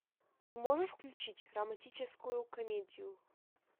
ты можешь включить романтическую комедию